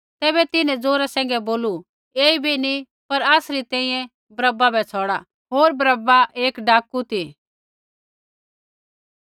तैबै तिन्हैं ज़ोरै सैंघै बोलू ऐईबै नी पर आसरी तैंईंयैं बरअब्बा बै छ़ौड़ा होर बरअब्बा एक डाकू ती